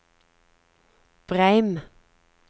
Breim